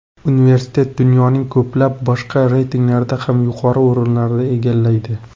Universitet dunyoning ko‘plab boshqa reytinglarda ham yuqori o‘rinlarni egallaydi.